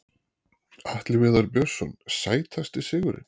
Atli Viðar Björnsson Sætasti sigurinn?